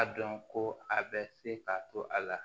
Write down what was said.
A dɔn ko a bɛ se ka to a la